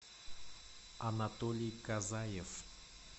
анатолий казаев